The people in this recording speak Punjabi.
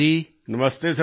ਨਮਸਤੇ ਸਰ ਜੀ